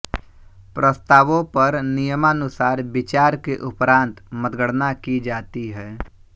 प्रस्तावों पर नियमानुसार विचार के उपरांत मतगणना की जाती है